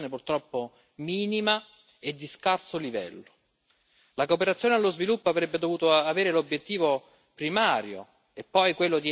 La cooperazione allo sviluppo avrebbe dovuto avere l'obiettivo primario di eliminare la povertà. Purtroppo tutto questo non è avvenuto.